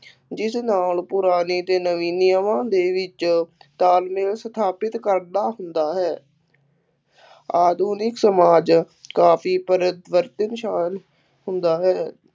ਜਿਸ ਨਾਲ ਪੁਰਾਣੇ ਅਤੇ ਨਵੇਂ ਨਿਯਮਾਂ ਦੇ ਵਿੱਚ ਤਾਲਮੇਲ ਸਥਾਪਿਤ ਕਰਦਾ ਹੁੰਦਾ ਹੈ ਆਧੁਨਿਕ ਸਮਾਜ ਕਾਫੀ ਪਰਵਰਤਿਤ ਸਮਾਜ ਹੁੰਦਾ ਹੈ।